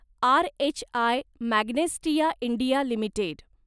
RHI Magnesita India limited